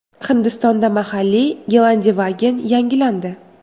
Hindistonda mahalliy Gelandewagen yangilandi.